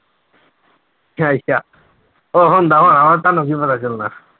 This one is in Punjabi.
ਉਹ ਹੁੰਦਾ ਹੋਣਾ ਤੁਹਾਨੂੰ ਕੀ ਪਤਾ ਚੱਲਣਾ।